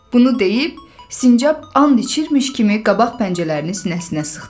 Bunu deyib sincab and içirmiş kimi qabaq pəncələrini sinəsinə sıxdı.